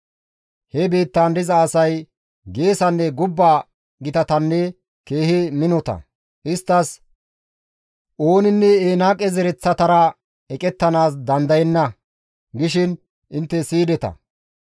He biittaan diza asay geesanne gubba gitatanne keehi minota; isttas, «Ooninne Enaaqe zereththatara eqettanaas dandayenna» gishin intte siyideta.